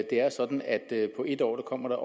er sådan at der på et år kommer